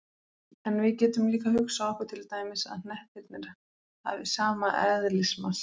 En við getum líka hugsað okkur til dæmis að hnettirnir hafi sama eðlismassa.